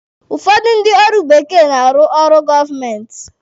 Ụfọdụ ndị ọrụ bekee na-arụ ọrụ gọọmenti.